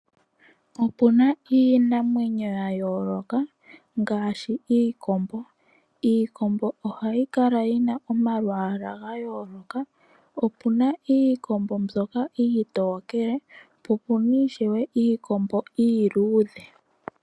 Opuna iinamwenyo yayooloka ngaashi iikombo. Iikombo ohayi kala yina omalwaala gayooloka. Opena iikombo mbyoka iitokele, po opena ishewe iikombo mbyoka iiluudhe.